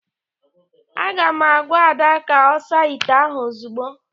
Aga m agwa Ada ka ọ saa ite ahụ ozugbo!